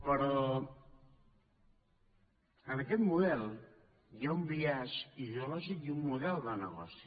però en aquest model hi ha un biaix ideològic i un model de negoci